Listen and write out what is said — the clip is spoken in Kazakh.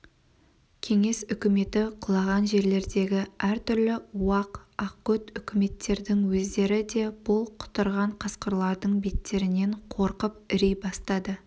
кеңес үкіметі құлаған жерлердегі әртүрлі уақ ақкөт үкіметтердің өздері де бұл құтырған қасқырлардың беттерінен қорқып іри бастады